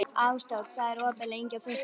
Ásdór, hvað er opið lengi á föstudaginn?